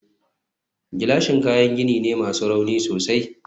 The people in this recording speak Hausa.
gilashin kayan gini ne masu rauni sosai